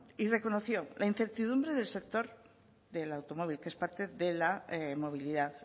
y reconoció la incertidumbre del sector del automóvil que es parte de la movilidad